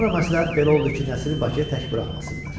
Sonra məsləhət belə oldu ki, Nəsiri Bakıya tək buraxmasınlar.